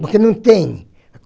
Porque não tem.